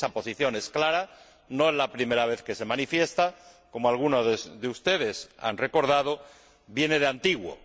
Esa posición es clara, no es la primera vez que se manifiesta como algunos de ustedes han recordado viene de antiguo.